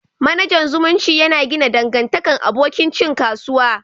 Managan zumunci ya na gina dangantakan abokin cin kasuwa.